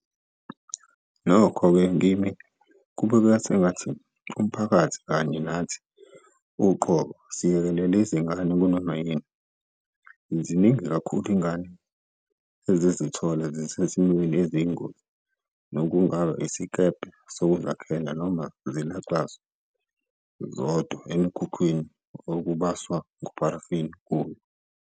Nokho-ke kimi kubukeka sengathi, umphakathi kanye nathi uqobo siyekelele izingane kunoma yini. Ziningi kakhulu izingane ezizithola zisezimweni eziyingozi, nokungaba isikebhe sokuzakhela noma zilaxazwe zodwa emikhukhwini okubaswa ngopharafini kuyo.